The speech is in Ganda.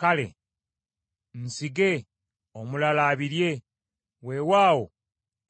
kale nsige, omulala abirye, weewaawo